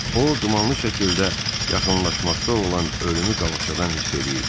O dumanlı şəkildə yaxınlaşmaqda olan ölümü qabaqcadan hiss eləyirdi.